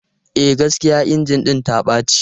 E, gaskiya injin ɗin ta ɓace.